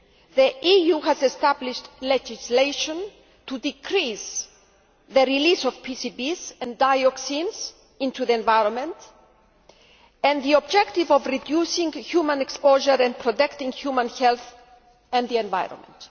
the EU has established legislation to decrease the release of PCBs and dioxins into the environment, with the objective of reducing human exposure and protecting human health and the environment.